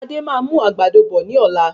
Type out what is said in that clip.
Sadé máa mú àgbàdo bọ̀ ní ọ̀la